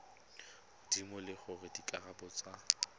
godimo le gore dikarabo tsa